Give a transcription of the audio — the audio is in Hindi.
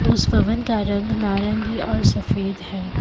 उस भवन का रंग नारंगी और सफेद है।